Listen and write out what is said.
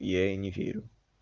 я и не верю